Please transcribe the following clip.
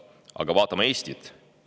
Aga vaatame Eestit.